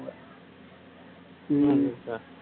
உம்